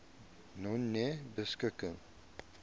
nonebeskikking